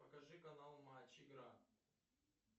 покажи канал матч игра